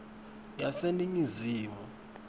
yaseningizimu